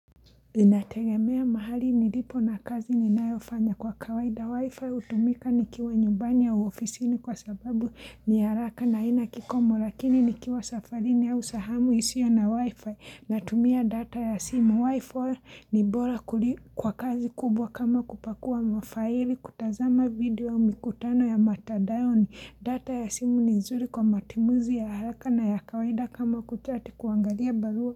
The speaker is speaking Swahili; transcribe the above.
Inategemea mahali nilipo na kazi ninaiyofanya, kwa kawaida wifi hutumika nikiwa nyumbani ya ofisini kwa sababu ni haraka na haina kikomo lakini nikiwa safarini au sehemu isiyo na wifi natumia data ya simu wifi ni bora kwa kazi kubwa kama kupakua mafaili kutazama video mikutano ya mtandaoni data ya simu ni nzuri kwa matumizi ya haraka na ya kawaida kama kuchati kuangalia barua.